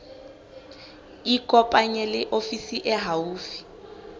ikopanye le ofisi e haufi